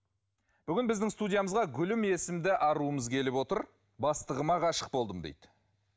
бүгін біздің студиямызға гүлім есімді аруымыз келіп отыр бастығыма ғашық болдым дейді